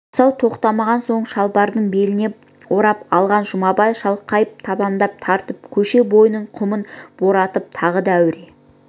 асау тоқтамаған соң шылбырды беліне орап алған жұмабай шалқайып табандап тартып көше бойының құмын боратып тағы да рәсуа